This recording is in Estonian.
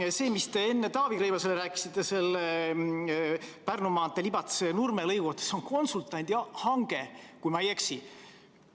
Ja see, mida te enne Taavi Rõivasele rääkisite Pärnu maantee Libatse–Nurme lõigu kohta – see on konsultandi hange, kui ma ei eksi.